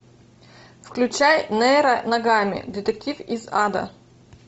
включай нейро ногами детектив из ада